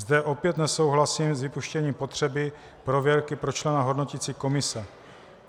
Zde opět nesouhlasím s vypuštěním potřeby prověrky pro člena hodnoticí komise.